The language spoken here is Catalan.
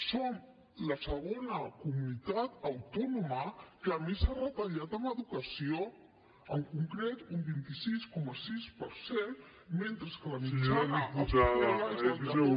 som la segona comunitat autònoma que més ha retallat en educació en concret un vint sis coma sis per cent mentre que la mitjana espanyola